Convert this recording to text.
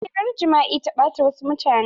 Hirar jima'i ta ɓata wasu mutane.